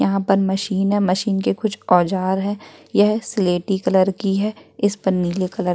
यहाँ पर कुछ मशीन हैं मशीन के औजार हैं यह सिलेटी कलर की है इस्पे नील कलर --